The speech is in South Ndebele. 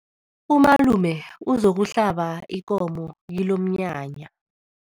Umalume uzokuhlaba ikomo kilomnyanya.